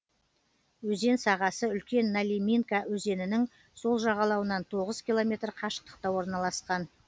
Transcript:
өзен сағасы үлкен налиминка өзенінің сол жағалауынан тоғыз километр қашықтықта орналасқан